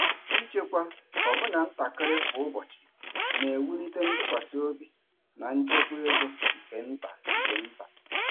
Ịchekwa ọbụna ntakịrị kwa ụbọchị na-ewulite ntụkwasị obi na nchekwa ego nke nta nke nta.